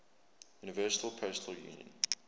universal postal union